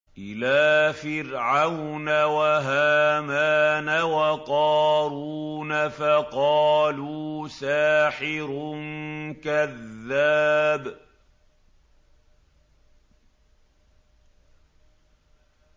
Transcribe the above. إِلَىٰ فِرْعَوْنَ وَهَامَانَ وَقَارُونَ فَقَالُوا سَاحِرٌ كَذَّابٌ